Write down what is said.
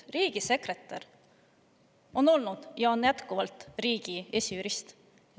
Riigisekretär on olnud ja on jätkuvalt riigi esijurist.